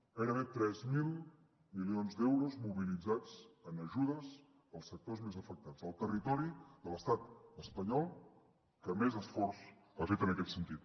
gairebé tres mil milions d’euros mobilitzats en ajudes als sectors més afectats el territori de l’estat espanyol que més esforç ha fet en aquest sentit